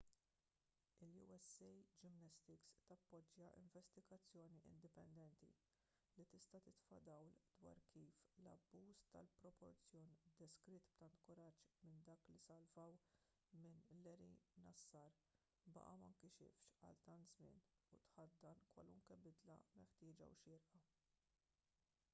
il-usa gymnastics tappoġġja investigazzjoni indipendenti li tista' titfa' dawl dwar kif l-abbuż tal-proporzjon deskritt b'tant kuraġġ minn dawk li salvaw minn larry nassar baqa' ma nkixifx għal tant żmien u tħaddan kwalunkwe bidla meħtieġa u xierqa